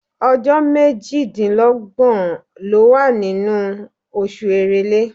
Ọjọ́ méjìdínlọ́gbọ̀ ló wà nínú oṣù Èrèlé.